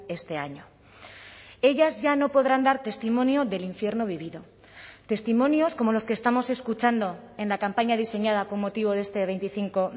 este año ellas ya no podrán dar testimonio del infierno vivido testimonios como los que estamos escuchando en la campaña diseñada con motivo de este veinticinco